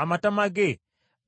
Amatama ge